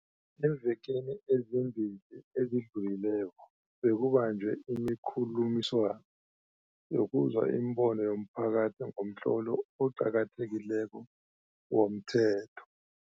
Eemvekeni ezimbili ezidlu lileko, bekubanjwe imikhulu miswano yokuzwa imibono yomphakathi ngomtlolo oqa kathekileko womthetho.